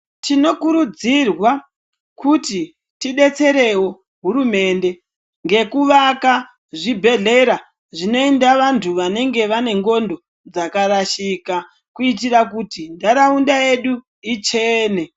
Tinokurudzirwa kuti tidetserewo hurumende, ngekuvaka zvibhedhlera zvinoenda vantu vanenge vanendxondo dzakarashika, kuyitira kuti ndaraunda yedu ichene.